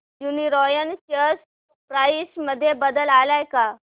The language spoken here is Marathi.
यूनीरॉयल शेअर प्राइस मध्ये बदल आलाय का